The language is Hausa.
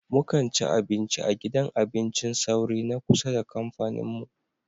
Mu kan ci abinci a gidan abincin sauri na kusa da kamfanin mu.